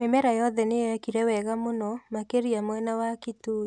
Mĩmera yothe nĩyekire wega mũno makĩria mwena wa Kitui